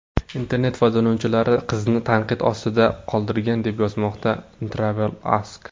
Internet foydalanuvchilari qizni tanqid ostida qoldirgan, deb yozmoqda TravelAsk.